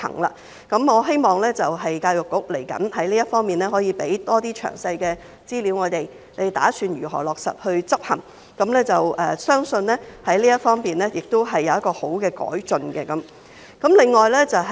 在這方面，我希望教育局未來可以向我們提供更多詳細資料，指出當局打算如何落實執行，相信這方面亦會有好的改進。